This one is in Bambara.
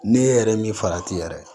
Ne yɛrɛ min farati yɛrɛ